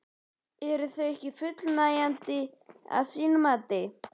Eru þau ekki fullnægjandi að þínu mati?